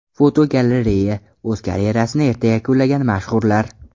Fotogalereya: O‘z karyerasini erta yakunlagan mashhurlar.